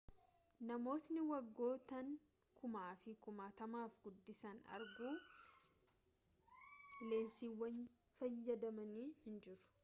namootni waggoottan kumaafi kumaatamaaf guddisanii arguuf leensiiwwan fayyadamanii jiru